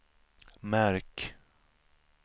märk